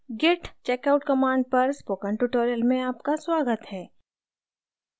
git checkout command पर spoken tutorial में आपका स्वागत है